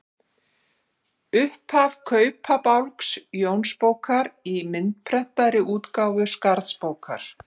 Upphaf Kaupabálks Jónsbókar í myndprentaðri útgáfu Skarðsbókar.